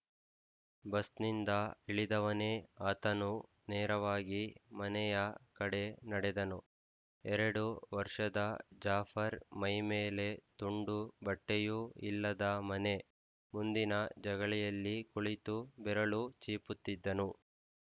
bus ನ್ನಿಂದ ಇಳಿದವನೇ ಆತನು ನೇರವಾಗಿ ಮನೆಯ ಕಡೆ ನಡೆದನು ಎರಡು ವರ್ಷದ ಜಾಫರ್ ಮೈ ಮೇಲೆ ತುಂಡು ಬಟ್ಟೆಯೂ ಇಲ್ಲದ ಮನೆ ಮುಂದಿನ ಜಗಲಿಯಲ್ಲಿ ಕುಳಿತು ಬೆರಳು ಚೀಪುತ್ತಿದ್ದನು